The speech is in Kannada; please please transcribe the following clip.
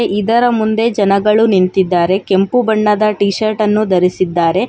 ಇದರ ಮುಂದೆ ಜನಗಳು ನಿಂತಿದ್ದಾರೆ ಕೆಂಪು ಬಣ್ಣದ ಟೀ ಶರ್ಟ್ ಅನ್ನು ಧರಿಸಿದ್ದಾರೆ.